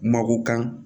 Mako kan